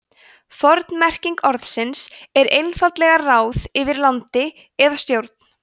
forn merking orðsins er einfaldlega ráð yfir landi eða stjórn